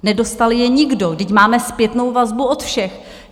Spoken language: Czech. Nedostal je nikdo, vždyť máme zpětnou vazbu od všech.